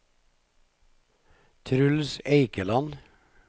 Truls Eikeland